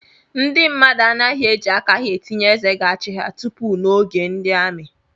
Ndị mmadụ anaghị eji aka ha tinye eze ga-achị ha tupu n’oge ndi amị